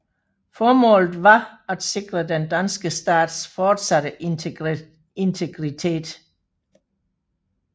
Formålet var at sikre den danske stats fortsatte integritet